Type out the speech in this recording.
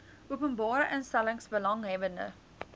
openbare instellings belanghebbende